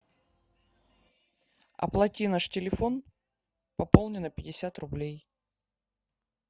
оплати наш телефон пополни на пятьдесят рублей